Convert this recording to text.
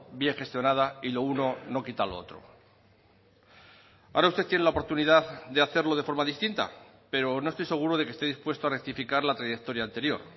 bien gestionada y lo uno no quita lo otro ahora usted tiene la oportunidad de hacerlo de forma distinta pero no estoy seguro de que esté dispuesto a rectificar la trayectoria anterior